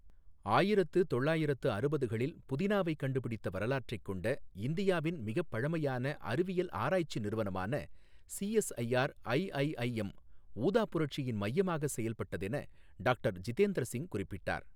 ஆயிரத்து தொள்ளாயிரத்து அறுபதுகளில் புதினாவைக் கண்டுபிடித்த வரலாற்றைக் கொண்ட இந்தியாவின் மிகப் பழமையான அறிவியல் ஆராய்ச்சி நிறுவனமான சிஎஸ்ஐஆர் ஐஐஐஎம் ஊதா புரட்சியின் மையமாக செயல்பட்டதென டாக்டர் ஜிதேந்திர சிங் குறிப்பிட்டார்.